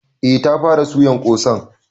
Eh ta fara suyan ƙosan.